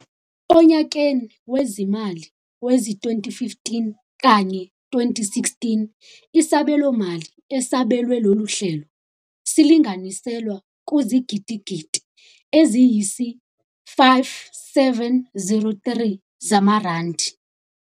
Onyakeni wezimali wezi2015 kanye 16, isabelomali esabelwe lolu hlelo silinganiselwa kuzigidigidi eziyisi5 703 zamarandi.